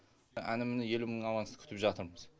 әні міні елу мың авансты күтіп жатырмыз